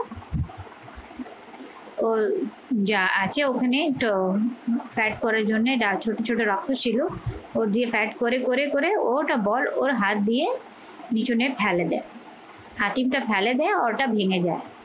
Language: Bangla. ওর যা আছে ওখানেই তো side করার জন্যে ছোট ছোট রক্ত ছিল ও দিয়ে side করে করে করে ওটা বল ওর হাত দিয়ে বিছুনে ঠেলে দেয় হাতিম টা ফেলে দিয়ে ওটা ভেঙে যায়